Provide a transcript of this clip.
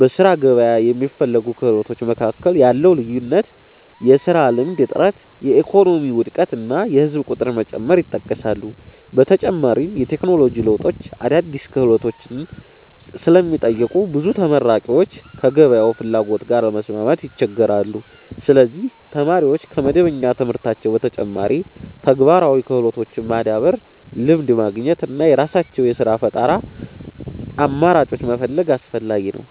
በሥራ ገበያ የሚፈለጉ ክህሎቶች መካከል ያለው ልዩነት፣ የሥራ ልምድ እጥረት፣ የኢኮኖሚ ውድቀት እና የህዝብ ቁጥር መጨመር ይጠቀሳሉ። በተጨማሪም የቴክኖሎጂ ለውጦች አዳዲስ ክህሎቶችን ስለሚጠይቁ ብዙ ተመራቂዎች ከገበያው ፍላጎት ጋር ለመስማማት ይቸገራሉ። ስለዚህ ተማሪዎች ከመደበኛ ትምህርታቸው በተጨማሪ ተግባራዊ ክህሎቶችን ማዳበር፣ ልምድ ማግኘት እና የራሳቸውን የሥራ ፈጠራ አማራጮች መፈለግ አስፈላጊ ነው።